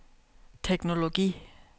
teknologi